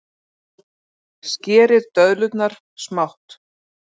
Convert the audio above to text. Skerið döðlurnar smátt.